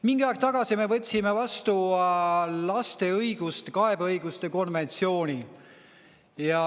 Mingi aeg tagasi me võtsime vastu laste kaebeõiguste konventsiooni.